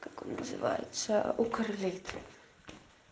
как он называется укр лит